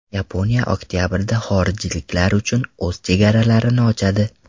Yaponiya oktabrda xorijliklar uchun o‘z chegaralarini ochadi.